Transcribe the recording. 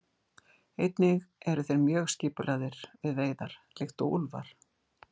Einnig eru þeir mjög skipulagðir við veiðar líkt og úlfar.